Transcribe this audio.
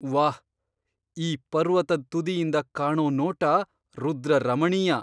ವಾಹ್! ಈ ಪರ್ವತದ್ ತುದಿಯಿಂದ ಕಾಣೋ ನೋಟ ರುದ್ರರಮಣೀಯ!